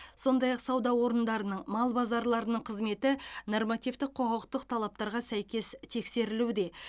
сондай ақ сауда орындарының мал базарларының қызметі нормативтік құқықтық талаптарға сәйкес тексерілуде